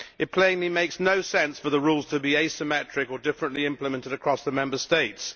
It plainly makes no sense for the rules to be asymmetric or differently implemented across the Member States.